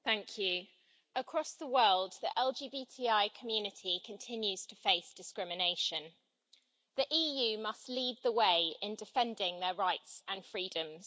Madam President, across the world, the LGBTI community continues to face discrimination. The EU must lead the way in defending their rights and freedoms.